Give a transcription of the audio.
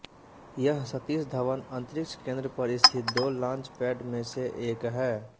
यह सतीश धवन अंतरिक्ष केंद्र पर स्थित दो लांच पैड में से एक है